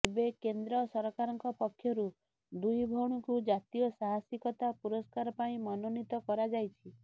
ଏବେ କେନ୍ଦ୍ର ସରକାରଙ୍କ ପକ୍ଷରୁ ଦୁଇ ଭଉଣୀଙ୍କୁ ଜାତୀୟ ସାହାସିକତା ପୁରସ୍କାର ପାଇଁ ମନୋନୀତ କରାଯାଇଛି